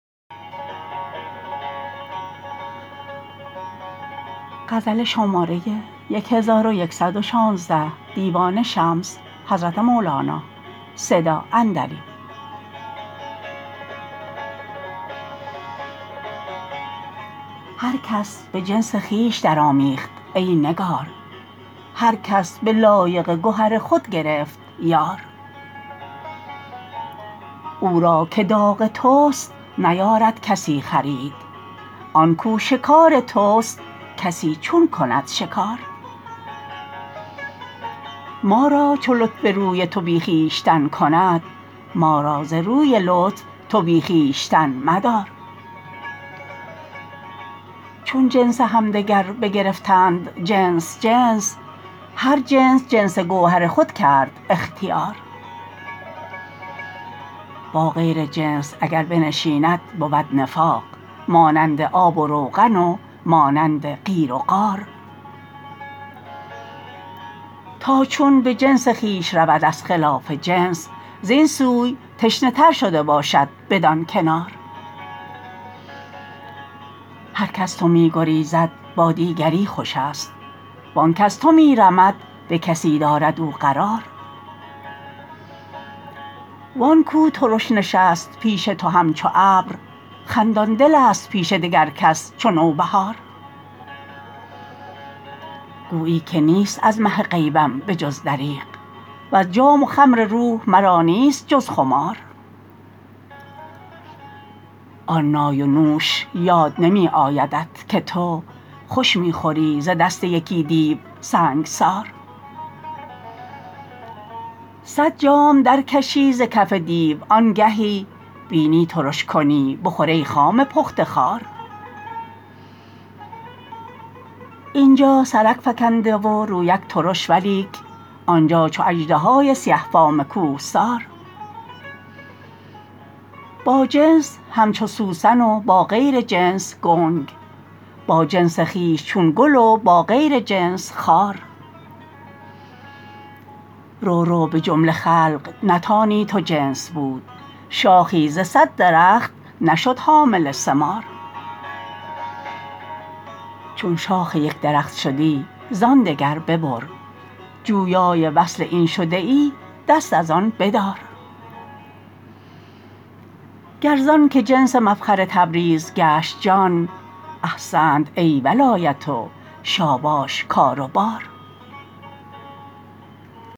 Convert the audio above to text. هر کس به جنس خویش درآمیخت ای نگار هر کس به لایق گهر خود گرفت یار او را که داغ توست نیارد کسی خرید آن کو شکار توست کسی چون کند شکار ما را چو لطف روی تو بی خویشتن کند ما را ز روی لطف تو بی خویشتن مدار چون جنس همدگر بگرفتند جنس جنس هر جنس جنس گوهر خود کرد اختیار با غیر جنس اگر بنشیند بود نفاق مانند آب و روغن و مانند قیر و قار تا چون به جنس خویش رود از خلاف جنس زین سوی تشنه تر شده باشد بدان کنار هرک از تو می گریزد با دیگری خوشست و آنک از تو می رمد به کسی دارد او قرار و آن کو ترش نشست به پیش تو همچو ابر خندان دلست پیش دگر کس چو نوبهار گویی که نیست از مه غیبم به جز دریغ وز جام و خمر روح مرا نیست جز خمار آن نای و نوش یاد نمی آیدت که تو خوش می خوری ز دست یکی دیو سنگسار صد جام درکشی ز کف دیو آنگهی بینی ترش کنی بخور ای خام پخته خوار این جا سرک فکنده و رویک ترش ولیک آن جا چو اژدهای سیه فام کوهسار با جنس همچو سوسن و با غیر جنس گنگ با جنس خویش چون گل و با غیر جنس خار رو رو به جمله خلق نتانی تو جنس بود شاخی ز صد درخت نشد حامل ثمار چون شاخ یک درخت شدی زان دگر ببر جویای وصل این شده ای دست از آن بدار گر زانک جنس مفخر تبریز گشت جان احسنت ای ولایت و شاباش کار و بار